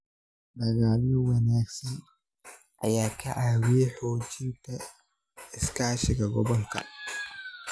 Dalagyo wanaagsan ayaa ka caawiya xoojinta iskaashiga gobolka.